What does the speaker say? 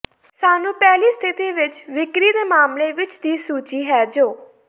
ਸਾਨੂੰ ਪਹਿਲੀ ਸਥਿਤੀ ਵਿੱਚ ਵਿਕਰੀ ਦੇ ਮਾਮਲੇ ਵਿੱਚ ਦੀ ਸੂਚੀ ਹੈ ਜੋ